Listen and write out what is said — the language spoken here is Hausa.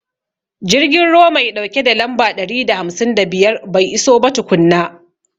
Jirgin ruwa mai ɗauke da lamba ɗari da hamsin da biyar bai iso ba tukunna.